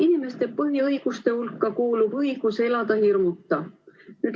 Inimeste põhiõiguste hulka kuulub õigus elada hirmuta.